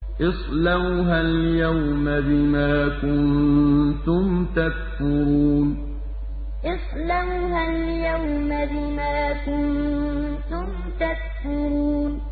اصْلَوْهَا الْيَوْمَ بِمَا كُنتُمْ تَكْفُرُونَ اصْلَوْهَا الْيَوْمَ بِمَا كُنتُمْ تَكْفُرُونَ